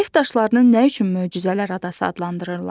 Neft daşlarının nə üçün möcüzələr adası adlandırırlar?